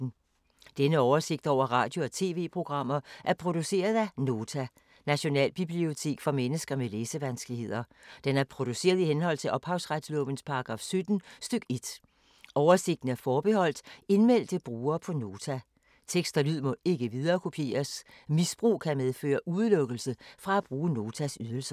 Denne oversigt over radio og TV-programmer er produceret af Nota, Nationalbibliotek for mennesker med læsevanskeligheder. Den er produceret i henhold til ophavsretslovens paragraf 17 stk. 1. Oversigten er forbeholdt indmeldte brugere på Nota. Tekst og lyd må ikke viderekopieres. Misbrug kan medføre udelukkelse fra at bruge Notas ydelser.